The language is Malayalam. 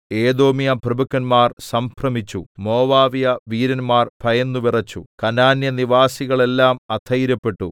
ഏദോമ്യപ്രഭുക്കന്മാർ സംഭ്രമിച്ചു മോവാബ്യവീരന്മാർ ഭയന്നുവിറച്ചു കനാന്യ നിവാസികളെല്ലാം അധൈര്യപ്പെട്ടു